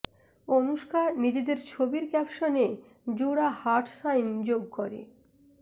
অনুষ্কা নিজেদের ছবির ক্যাপশনে জোড়া হার্ট সাইন যোগ করে